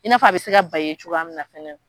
I n'a fɔ a bɛ se ka ban i ye cogoya min na fɛnɛ